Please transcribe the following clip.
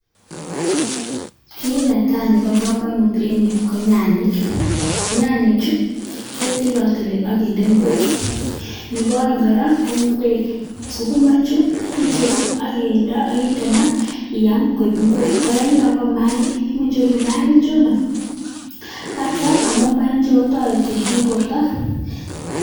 Kiit ne tai nebo kamanut eng yu ko nanyik, nyanyichu ketilatili akindee ingwek. Nebo aeng kora ko ingwek, sukumaichu icheru akinde maa akiam koek ingwek, alak ko maainik, icheru akiam amun mayainichu kotoreti eng borto.